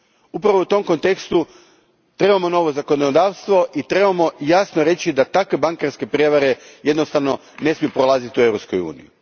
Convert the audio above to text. Upravo u tom kontekstu, trebamo novo zakonodavstvo i trebamo jasno reći da takve bankarske prijevare jednostavno ne smiju prolaziti u Europskoj uniji.